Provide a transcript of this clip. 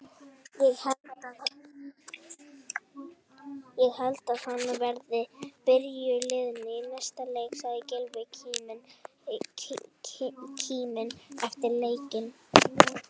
Ég held að hann verði í byrjunarliðinu í næsta leik, sagði Gylfi kíminn eftir leikinn.